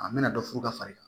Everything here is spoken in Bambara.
A bɛna dɔ furu ka far'i kan